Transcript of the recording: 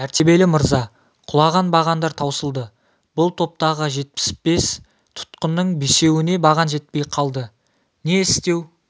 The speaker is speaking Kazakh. мәртебелі мырза құлаған бағандар таусылды бұл топтағы жетпіс бес тұтқынның бесеуіне баған жетпей қалды не істеу